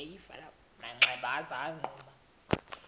manxeba waza wagquma